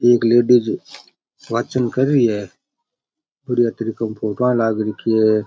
एक लेडीज वाचन कर रि है बड़िया तरीका खोका लाग रखी है।